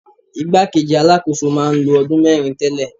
Ìgbá kejì Alákóso máa ń lo ọdún mẹ́rin tẹ́lẹ̀.